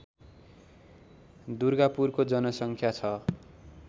दुर्गापुरको जनसङ्ख्या छ